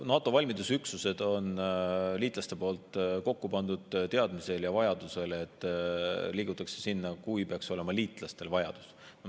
NATO valmidusüksused on liitlaste poolt kokku pandud selle teadmise ja vajaduse alusel, et liigutakse, kui liitlastel peaks olema vajadus.